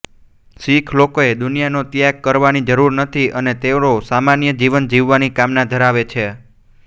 શીખ લોકોએ દુનિયાનો ત્યાગ કરવાની જરૂર નથી અને તેઓ સામાન્ય જીવન જીવવાની કામના ધરાવે છે